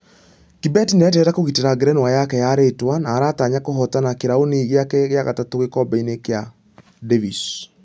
Kibet nĩareterera kũgitĩra ngerenwa yake ya rĩtwa....na aratanya kũhotana kĩrauni gĩake gĩa gatatũ gĩkobe-inĩ gĩa davis.